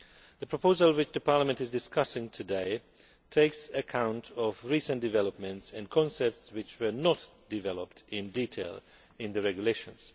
The proposal which the Parliament is discussing today takes account of recent developments and concepts which were not developed in detail in the regulations.